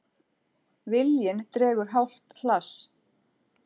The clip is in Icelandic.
Viljann dregur hálft hlass.